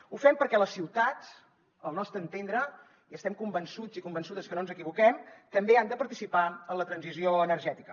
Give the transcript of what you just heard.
ho fem perquè les ciutats al nostre entendre i estem convençuts i convençudes que no ens equivoquem també han de participar en la transició energètica